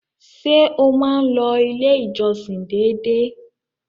Ṣé o máa n lọ ilé ìjọsìn dédé?